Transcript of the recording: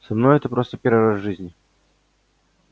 со мной это просто первый раз в жизни